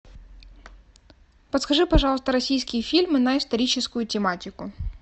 подскажи пожалуйста российские фильмы на историческую тематику